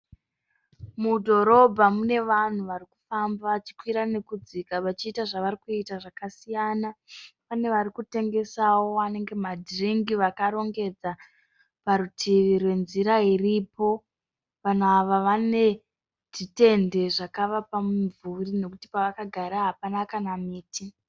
Mudhorobha mune vanhu varikufamba vachikwira nekudzika vachiita zvavarikuita zvakasiyana. Pane varikutengesawo anenge madhiringi vakarongedza parutivi rwenzira iripo. Vanhu ava zvitende zvakavapa mumvuri nekuti pavakagara hapana kana muti.